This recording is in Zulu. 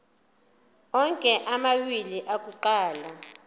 onke amawili akuqala